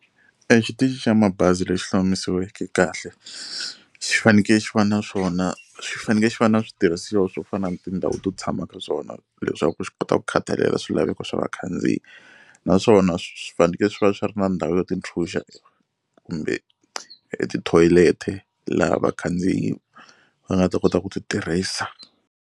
E xitichini xa mabazi lexi hlomisiweke kahle xi faneke xi va na swona xi faneke xi va na switirhisiwa swo fana na tindhawu to tshama ka swona leswaku xi kota ku khathalela swilaveko swa vakhandziyi naswona swi fanekele swi va swi ri na ndhawu yo tintshunxa kumbe tithoyileti laha vakhandziyi va nga ta kota ku ti tirhisa.